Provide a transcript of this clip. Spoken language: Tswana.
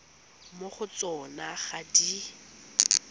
mo go tsona ga di